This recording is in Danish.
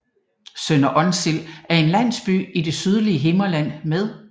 Sønder Onsild er en landsby i det sydlige Himmerland med